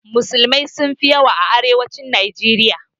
Musulmai sun fi yawa a arewacin najeriya